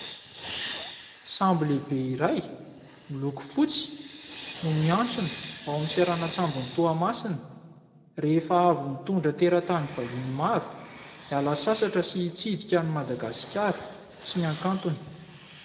Sambo lehibe iray miloko fotsy no miantsona ao amin'ny seranan-tsambon'i Toamasina, rehefa avy nitondra teratany vahiny maro hiala sasatra sy hitsidika an'i Madagasikara sy ny hakantony.